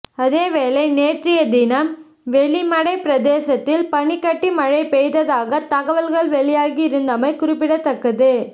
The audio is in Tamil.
அதேவேளை நேற்றைய தினம் வெலிமடை பிரதேசத்தில் பனிக்கட்டி மழைப் பெய்ததாக தகவல்கள் வெளியாகி இருந்தமை குறிப்பிடத்தக்கது